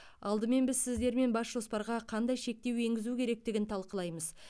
алдымен біз сіздермен бас жоспарға қандай шектеу енгізу керектігін талқылаймыз